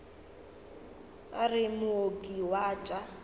re o mooki wa tša